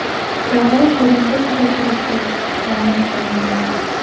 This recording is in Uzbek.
Ravon brendi tugatilishi ma’lum qilindi.